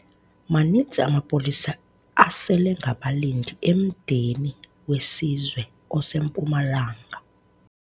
Maninzi amapolisa aselengabalindi emdeni wesizwe oseMpumalanga.